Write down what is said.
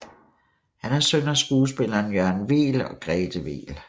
Han er søn af skuespilleren Jørgen Weel og Grethe Weel